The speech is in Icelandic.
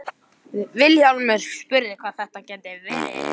Vilhjálmur spurði hvað þetta gæti verið.